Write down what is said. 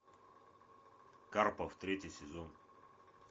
карпов третий сезон